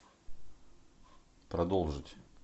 продолжить